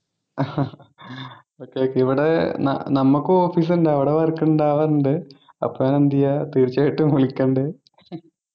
okay okay ഇവിടെ ന നമുക്കും Office ഉണ്ട് അവിടെ Work ഉണ്ടാവാറുണ്ട് അപ്പൊ എന്ത് ചെയ്യാ തീർച്ചയായിട്ടും വിളിക്കുണ്ട്